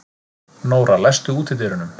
Nóra, læstu útidyrunum.